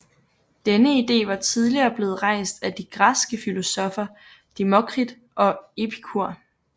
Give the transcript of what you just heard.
Denne ide var tidligere blevet rejst af de græske filosoffer Demokrit og Epikur